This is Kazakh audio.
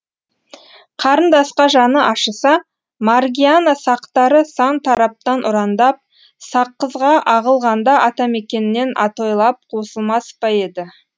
қарындасқа жаны ашыса маргиана сақтары сан тараптан ұрандап саққызға ағылғанда атамекеннен атойлап қосылмас па еді